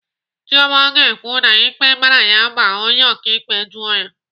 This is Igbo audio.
Chioma ga-ekwu na ikpe mara ya ma onye ọkaikpe jụọ ya.